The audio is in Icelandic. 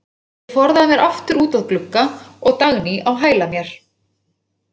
Ég forðaði mér aftur út að glugga og Dagný á hæla mér.